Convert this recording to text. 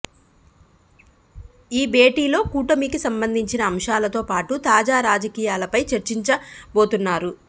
ఈ భేటీలో కూటమికి సంబంధించిన అంశాలతో పాటూ తాజా రాజకీయాలపై చర్చించబోతున్నారు